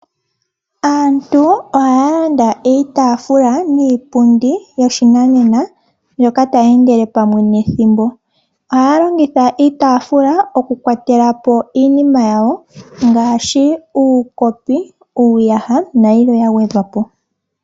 Aantu ohaya landa iitaafula niipundi yoshinanena mbyoka tayi endele pamwe nethimbo. Ohaya longitha iitaafula okukwatela po iinima yawo ngaashi uukopi, uuyaha nayilwe ya gwedhwa po.